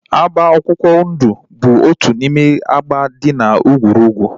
Agba akwụkwọ ndụ bụ otu n'ime agba dị na egwurugwu